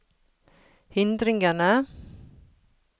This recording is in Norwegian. hindringene